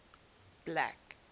black